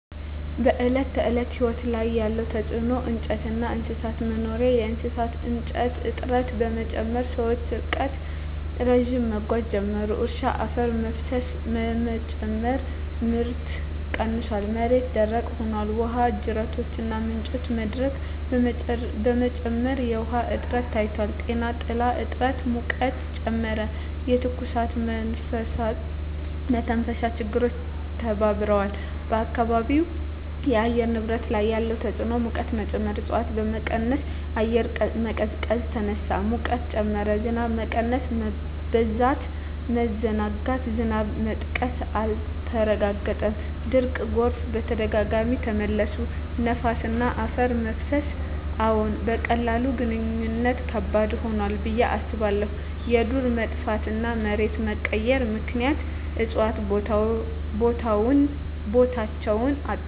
በዕለት ተዕለት ሕይወት ላይ ያለ ተጽዕኖ እንጨትና እንስሳት መኖሪያ የእሳት እንጨት እጥረት በመጨመር ሰዎች ርቀት ረዥም መጓዝ ጀመሩ። እርሻ አፈር መፍሰስ በመጨመር ምርት ቀንሷል፣ መሬት ደረቅ ሆኗል። ውሃ ጅረቶችና ምንጮች መድረቅ በመጨመር የውሃ እጥረት ታይቷል። ጤና ጥላ እጥረት ሙቀትን ጨመረ፣ የትኩሳትና የመተንፈሻ ችግሮች ተባብረዋል። በአካባቢው የአየር ንብረት ላይ ያለ ተጽዕኖ ሙቀት መጨመር እፅዋት በመቀነስ አየር መቀዝቀዝ ተነሳ፣ ሙቀት ጨመረ። ዝናብ መቀነስ/መበዛት መዘናጋት ዝናብ መጥቀስ አልተረጋገጠም፣ ድርቅና ጎርፍ በተደጋጋሚ ተመለሱ። ነፋስና አፈር መፍሰስ አዎን፣ በቀላሉ ማግኘት ከባድ ሆኗል ብዬ አስባለሁ። የዱር መጥፋትና መሬት መቀየር ምክንያት እፅዋት ቦታቸውን አጡ።